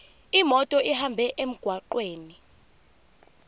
imoto ihambe emgwaqweni